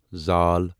ذ